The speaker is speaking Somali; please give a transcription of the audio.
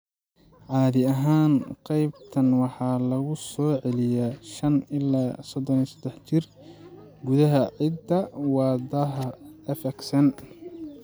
Caadi ahaan, qaybtan waxaa lagu soo celiyaa 5 ilaa 33 jeer gudaha hidda-wadaha FXN.